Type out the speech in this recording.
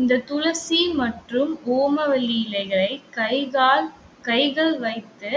இந்த துளசி மற்றும் ஓமவல்லி இலைகளை கை, கால் கைகள் வைத்து